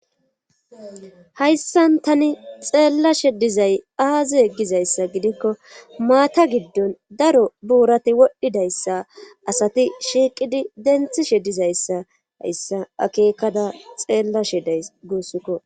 Hayssan tani xeellashe dizay aazi yeggizayssa gidikko maata giddon daro buurati wodhdhidayssa asati shiiqidi denthishe dizayssa hayssa akeekada xeellashe day guussikko.